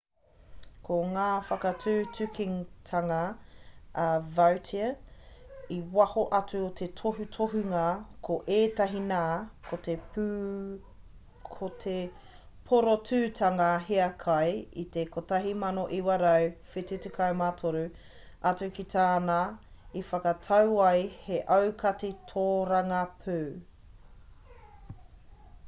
ko ngā whakatutukitanga a vautier i waho atu o te tohutohunga ko ēnei nā ko te porotūtanga hiakai i te 1973 atu ki tāna i whakatau ai he aukati tōrangapū